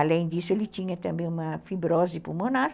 Além disso, ele tinha também uma fibrose pulmonar.